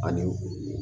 Ani